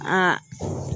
Aa